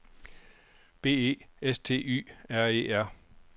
B E S T Y R E R